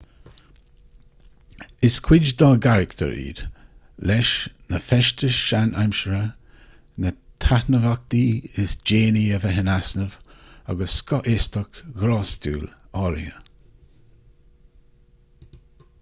is cuid dá gcarachtar iad leis na feistis sean-aimseartha na taitneamhachtaí is déanaí a bheith in easnamh agus scothaostacht ghrástúil áirithe